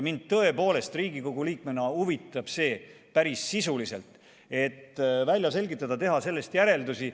Mind tõepoolest Riigikogu liikmena huvitab see päris sisuliselt, et välja selgitada, teha sellest järeldusi.